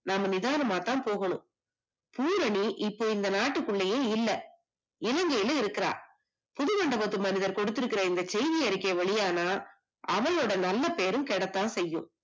நாம நிதானமாதான் போகணும், பூரணி இப்ப இந்த நாட்டுக்குள்ளயே இல்ல, இலங்கைல இருக்கா, புது மண்டபத்து மனிதர் கொடுத்திருக்குற இந்த செய்தி அறிக்கை வெளியானா அவையோட நல்ல பெயரும் கேடத்தான் செய்யும்